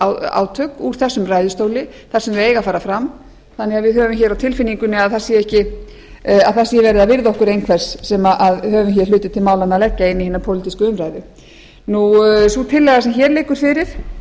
pólitískt átök úr þessum ræðustóli þar sem þau eiga að fara fram þannig að við höfum á tilfinningunni að það sér verið að virða okkur einhvers sem höfum hér hluti til málanna að leggja í hina pólitísku umræðu sú tillaga sem hér liggur fyrir